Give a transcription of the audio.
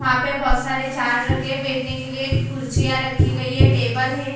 यहाँ पे बहुत सारे झाड रखे हैं बैठने के लिए कुर्सियाँ रखी गयी है टेबल है ए --